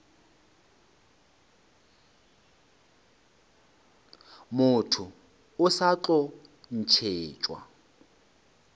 motho o sa tlo ntšhetšwa